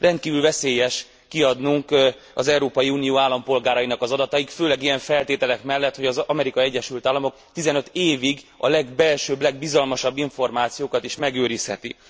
Rendkívül veszélyes kiadnunk az Európai Unió állampolgárainak adatait, főleg ilyen feltételek mellett, hogy az Amerikai Egyesült Államok 15 évig a legbelsőbb, legbizalmasabb információkat is megőrizheti.